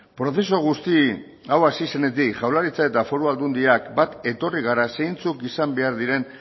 prozesu guzti hau hasi zenetik jaurlaritzak eta foru aldundiak bat etorri gara zeintzuk izan behar diren